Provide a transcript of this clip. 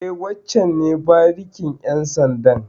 E, wancen ne barikin ƴan sandan.